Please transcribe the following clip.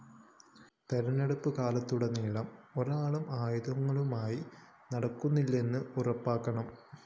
തിരഞ്ഞെടുപ്പ് കാലത്തുടനീളം ഒരാളും ആയുധങ്ങളുമായി നടക്കുന്നില്ലെന്ന് ഉറപ്പാക്കണം